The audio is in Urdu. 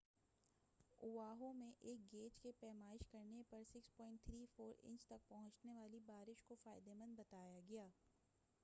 اواہو میں ایک گیج کی پیمائش کرنے پر 6.34 انچ تک پہنچنے والی بارش کو فائدہ مند بتایا گیا تھا